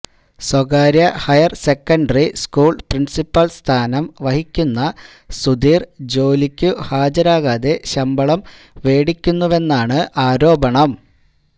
സ്വകാര്യ higher secondary school principal സ്ഥാനം വഹിക്കുന്ന സുധീർ ജോലിക്കു ഹാജരാകാതെ ശമ്പളം മേടിക്കുന്നുവെന്നാണ് ആരോപണം